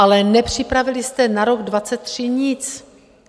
Ale nepřipravili jste na rok 2023 nic.